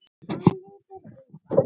Hann lítur undan.